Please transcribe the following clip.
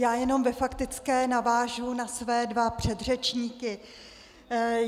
Já jenom ve faktické navážu na své dva předřečníky.